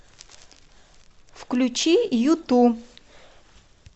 включи юту